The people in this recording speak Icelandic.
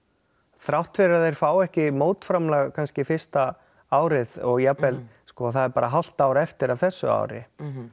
þrátt fyrir að þeir fái ekki mótframlag fyrsta árið og jafnvel sko það er bara hálft ár eftir af þessu ári